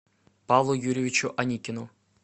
павлу юрьевичу аникину